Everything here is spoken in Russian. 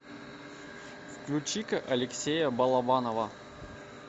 включи ка алексея балабанова